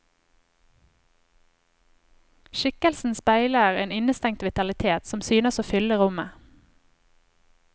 Skikkelsen speiler en innestengt vitalitet, som synes å fylle rommet.